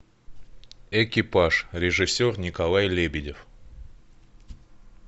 экипаж режиссер николай лебедев